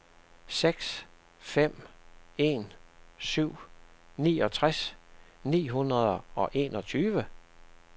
seks fem en syv niogtres ni hundrede og enogtyve